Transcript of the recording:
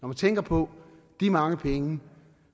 man tænker på de mange penge